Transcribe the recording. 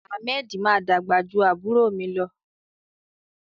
Ahmed ma dàgbà jù àbúrò mi lọ.